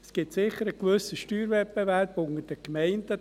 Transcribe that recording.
Es gibt sicher einen gewissen Steuerwettbewerb unter den Gemeinden.